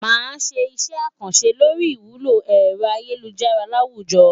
Màá ṣe iṣẹ́ àkànṣe lórí ìwúlò ẹ̀rọ ayélujára láwùjọ.